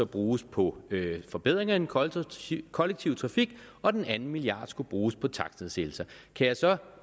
bruges på forbedringer af den kollektive kollektive trafik og at den anden milliard skulle bruges på takstnedsættelser kan jeg så